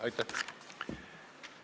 Aitäh!